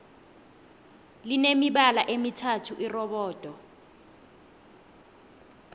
line mibala emithathu irobodo